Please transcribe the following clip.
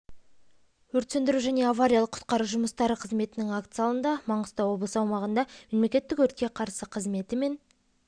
өрт сөндіру және авариялық-құтқару жұмыстары қызметінің акт залында маңғыстау облысы аумағында мемлекеттік өртке қарсы қызметі мен